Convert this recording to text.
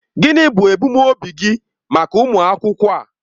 Gịnị bụ ebumnobi gị maka ụmụ akwụkwọ a?